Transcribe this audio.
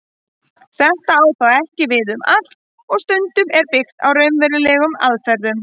Þetta á þó ekki við um allt og stundum er byggt á raunverulegum aðferðum.